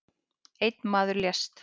Einn maður lést